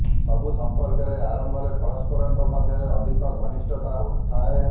ସବୁ ସଂପର୍କର ଆରମ୍ଭରେ ପରସ୍ପରଙ୍କ ମଧ୍ୟରେ ଅଧିକ ଘନିଷ୍ଠତା ଥାଏ